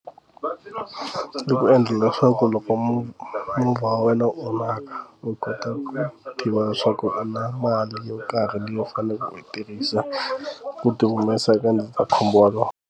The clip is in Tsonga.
Ku endla leswaku loko movha movha wa wena u onhaka u kota ku tiva leswaku u na mali yo karhi leyi u faneleke u yi tirhisa ku ti humesa eka ndzi ta khumba wolowo.